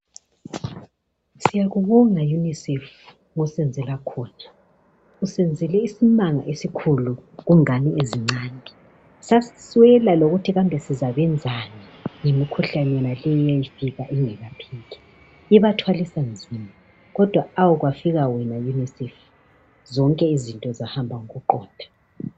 Siyakubonga unisef ngosenzela khona. Usenzele isimanga esikhulu kungane ezincane, sasiswela lokuthi sizabenzani ngemikhuhlane yonaleyi eyafika ingelapheki. Ibathwalisa nzima kodwa awu kwafika wena unisef zonke izinto zahamba ngokuqonda.